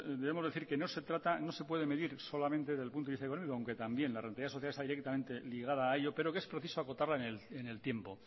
debemos decir que no se trata que no se puede medir solamente del punto de vista económico aunque también la rentabilidad social está directamente ligada a ello pero que es preciso acotarla en el tiempo